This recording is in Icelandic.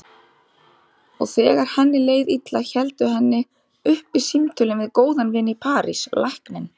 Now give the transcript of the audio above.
Og þegar henni leið illa héldu henni uppi símtölin við góðan vin í París, lækninn